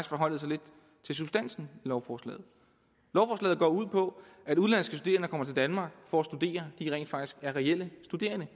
forholdt sig lidt til substansen i lovforslaget lovforslaget går ud på at udenlandske studerende der kommer til danmark for at studere rent faktisk reelt er studerende